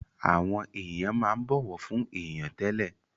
Àwọn èèyàn máa ń bọ̀wọ̀ fún èèyàn tẹ́lẹ̀